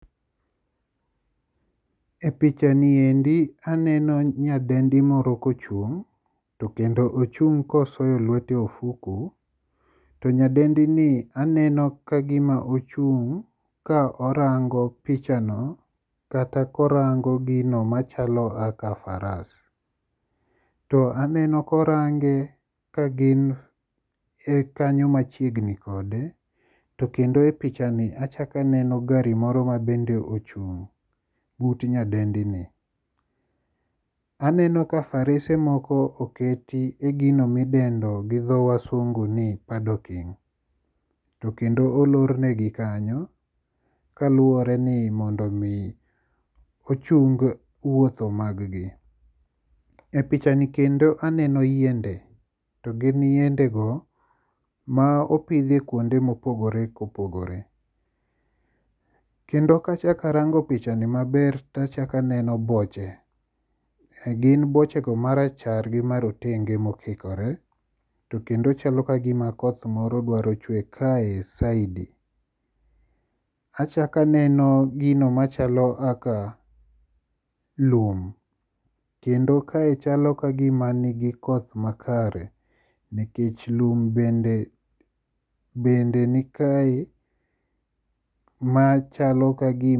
E pichani endi aneno nyadendi moro kochung' to kendo mochung' kosoyo lwete ofuku, to nyadendini aneno kagima ochung' ka orango pichano kata korango gino machalo aka faras. To aneno korange kagin e kanyo machiegni kode, to kendo e pichani achako aneno gari moro ma bende ochung' but nyadendini. Aneno ka ,to kendo olornegi kanyo kaluwore ni mondo omi ochung wuotho maggi. E pichani kendo aneno yiende to gin yiendego ma opidhi kuonde mopogore kopogore. Kendo kachak arango pichani maber tachako aneno boche, gin bochego marachar gi marotengego mokikore to kendo chalo kagima koth moro dwaro chwe kae saidi. Achako aneno gino machalo aka lum, kendo kae chalo kagima nigi koth makare nikech lum bende nikae machalo kagima..